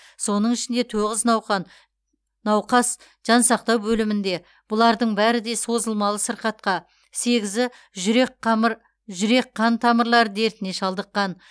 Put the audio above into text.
соның ішінде тоғыз науқан науқас жансақтау бөлімінде бұлардың бәрі де созылмалы сырқатқа сегізі жүрек қамыр жүрек қан тамырлары дертіне шалдыққан